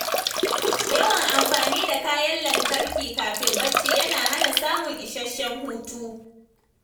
Yawan amfani da kayan lantarki kafin bacci yana hana samun isasshen hutu.